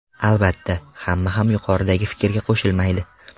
Albatta, hamma ham yuqoridagi fikrga qo‘shilmaydi.